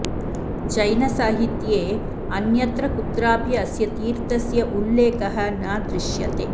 जैनसाहित्ये अन्यत्र कुत्रापि अस्य तीर्थस्य उल्लेखः न दृश्यते